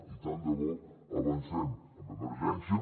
i tant de bo avancem en emergència